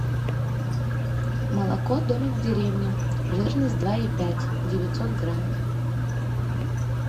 молоко домик в деревне жирность два и пять девятьсот грамм